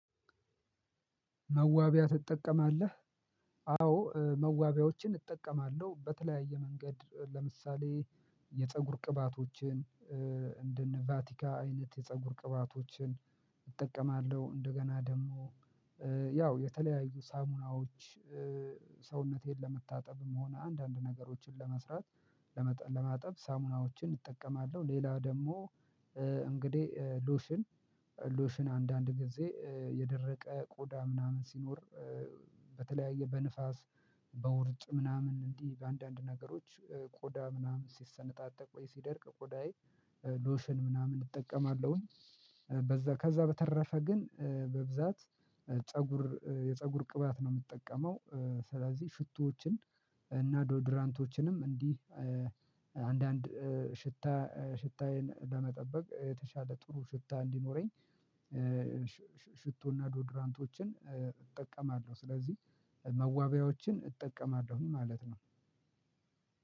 መዋቢያ ትጠቀማለህ? አዎ መዋቢያዎችን እጠቀማለሁ በተለያየ መንገድ ለምሳሌ የፀጉር ቅባቶችን እንደነ ቫቲካ አይነት የፀጉር ቅባቶችን እጠቀማለሁ እንደገና ደግሞ ያው የተለያዩ ሳሙናዎች። ሰውነቴን ለመታጠብም ሆነ አንዳንድ ነገሮችን ለመስራት ለማጠብ ሳሙናዎችን እጠቀማለሁ። ሌላ ደግሞ እንግዲህ ሎሽን ሎሽን አንዳንድ ጊዜ የደረቀ ቆዳ ምናምን ሲኖር። በተለያየ በንፋስ በውርጭ ምናምን እንዲህ በአንዳንድ ነገሮች ቆዳ ምናምን ሲሰነጣጠቅ ወይ ሲደርቅ ቆዳዬ ሎሽን ምናምን እጠቀማለሁኝ። ከዛ በተረፈ ግን በብዛት ፀጉር የፀጉር ቅባት ነው የምጠቀመው። ስለዚህ ሽቶዎችን እና ዶድራንቶችንም እንዲህ አንዳንድ ሽታ ሽታዬን ለመጠበቅ የተሻለ ጥሩ ሽታ እንዲኖረኝ ሽቶና ዶድራንቶችን እጠቀማለሁ። ስለዚህ መዋቢያዎችን እጠቀማለሁኝ ማለት ነው።